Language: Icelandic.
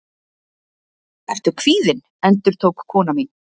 Ertu kvíðinn? endurtók kona mín.